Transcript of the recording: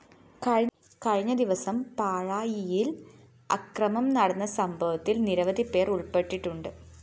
കഴിഞ്ഞ ദിവസം പാഴായിയില്‍ അക്രമം നടന്ന സംഭവത്തില്‍ നിരവധിപേര്‍ ഉള്‍പ്പെട്ടുണ്ട്